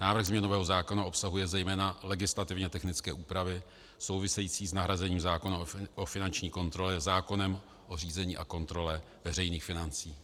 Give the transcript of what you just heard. Návrh změnového zákona obsahuje zejména legislativně technické úpravy související s nahrazením zákona o finanční kontrole zákonem o řízení a kontrole veřejných financí.